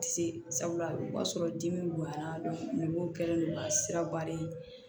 Se sabula o b'a sɔrɔ dimi bonyana dɔnlen don ka siraba de